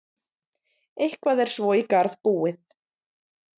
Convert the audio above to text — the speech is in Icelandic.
Eitthvað er svo í garð búið